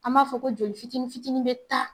An b'a fɔ ko jɔli fitiinin fitiinin bɛ taa.